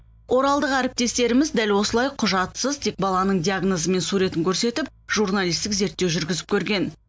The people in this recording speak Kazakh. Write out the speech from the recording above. оралдық әріптестеріміз дәл осылай құжатсыз тек баланың диагнозы мен суретін көрсетіп журналистік зерттеу жүргізіп көрген